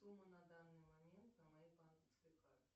сумма на данный момент на моей банковской карте